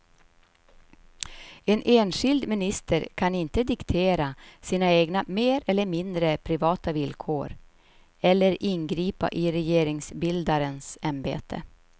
En enskild minister kan inte diktera sina egna mer eller mindre privata villkor eller ingripa i regeringsbildarens ämbete.